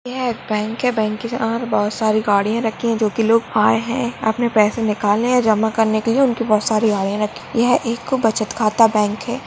यह बैंक है बैंक के बहार बहुत सारी गाड़िया रखी है जो की लोग आये है अपने पैसे निकालने या जमा करने के लिए उनकी बहुत सारी गाड़िया रखी है यह एक बचत खाता बँक है।